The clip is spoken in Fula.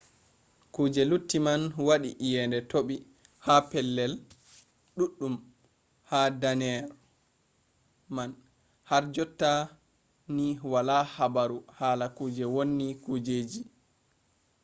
kuje lutti man waɗi iyende toɓi ha pellel ɗuɗɗum ha danneere man har jotta ni wala habaru hala kuje wonni kujeji